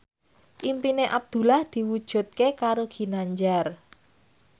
impine Abdullah diwujudke karo Ginanjar